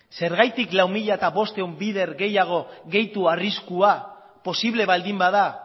zergatik lau mila bostehun bider gehiago gehitu arriskua posible baldin bada